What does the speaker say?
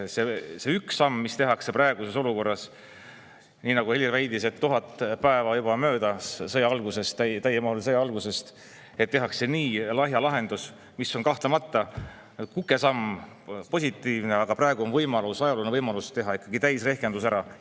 See üks samm, mis tehakse praeguses olukorras – nagu Helir väitis, 1000 päeva on juba möödas sõja algusest, täiemahulise sõja algusest, aga tehakse nii lahja lahendus –, on kahtlemata positiivne, kukesamm, kuid praegu on võimalus, ajalooline võimalus teha ikkagi täisrehkendus ära.